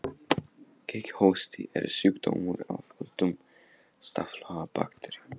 Kíghósti er sjúkdómur af völdum staflaga bakteríu.